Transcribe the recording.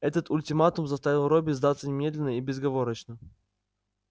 этот ультиматум заставил робби сдаться немедленно и безоговорочно